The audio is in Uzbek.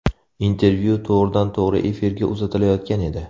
Intervyu to‘g‘ridan-to‘g‘ri efirga uzatilayotgan edi.